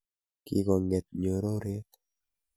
Kikong'et ngoryonoo.